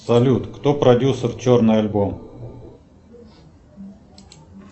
салют кто продюсер черный альбом